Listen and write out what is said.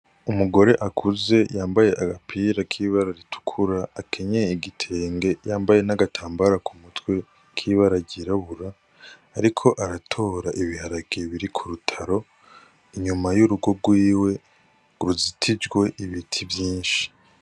Umugore akuze yambaye agapira k'iba araritukura akenye igitenge yambaye n'agatambara ku mutwe kibe aragirabura, ariko aratora ibiharakiye biri ku rutaro inyuma y'urugo rwiwe ngo ruzitijwe ibiti vyinshi.